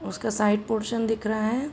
उसका side portion दिख रहा हैं।